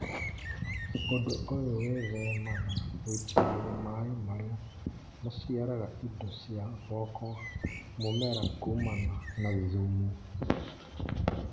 ũndũ ũyũ wĩthemaga gũitĩrĩria maĩ marĩa maciaraga indo cia gwaka mũmera kumana na thumu